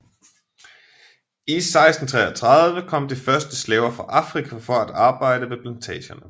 I 1633 kom de første slaver fra Afrika for at arbejde ved plantagerne